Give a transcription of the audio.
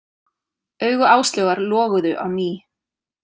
Augu Áslaugar loguðu á ný.